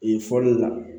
Yen fɔli la